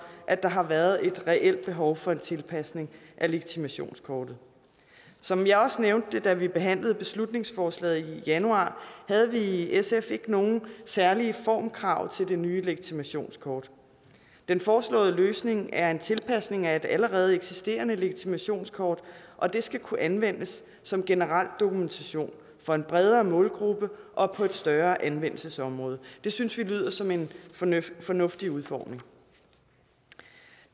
at der har været et reelt behov for en tilpasning af legitimationskortet som jeg også nævnte da vi behandlede beslutningsforslaget i januar havde vi i sf ikke nogen særlige formkrav til det nye legitimationskort den foreslåede løsning er en tilpasning af et allerede eksisterende legitimationskort og det skal kunne anvendes som generel dokumentation for en bredere målgruppe og på et større anvendelsesområde det synes vi lyder som en fornuftig udformning